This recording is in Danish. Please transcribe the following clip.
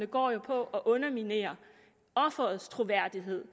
går jo på at underminere offerets troværdighed